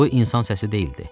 Bu, insan səsi deyildi.